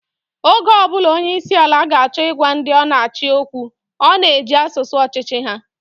Oge ọ bụla onyeisiala ga-acho ịgwa ndị ọ na-achị okwu, ọ na-eji asụsụ ọchịchị ha.